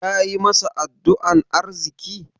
Kayi masa addu'an arziƙi?